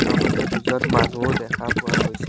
লগতে দুজন মানুহো দেখা পোৱা গৈছে।